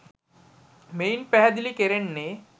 මෙයින් පැහැදිලි කෙරෙන්නේ